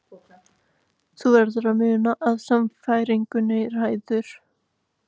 Þú verður að muna að sannfæringin ræður.